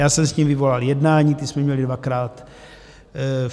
Já jsem s nimi vyvolal jednání, ta jsme měli dvakrát.